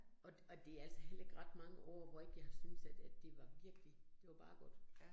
Og og det altså heller ikke ret mange år, hvor ikke jeg har syntes, at at det var virkelig, det var bare godt